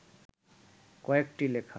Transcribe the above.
কয়েকটি লেখা